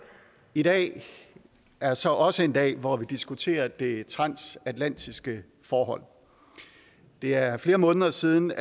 i dag er så også en dag hvor vi diskuterer det transatlantiske forhold det er flere måneder siden